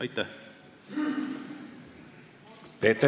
Aitäh!